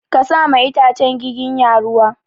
Ka sa ma itacen giginya ruwa!